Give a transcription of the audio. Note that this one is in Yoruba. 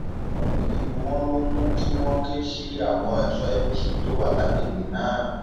ọrọ yìí ni wọn lọ mú kí wọn ké sí àwọn ẹṣọ apc tó wà lágbègbè náà